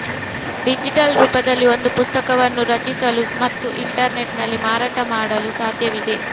digital ರೂಪದಲ್ಲಿ ಒಂದು ಪುಸ್ತಕವನ್ನು ರಚಿಸಲು ಮತ್ತು ಇಂಟರ್ನೆಟ್ನಲ್ಲಿ ಮಾರಾಟ ಮಾಡಲು ಸಾಧ್ಯವಿದೆ